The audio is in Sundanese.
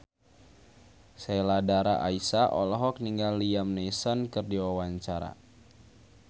Sheila Dara Aisha olohok ningali Liam Neeson keur diwawancara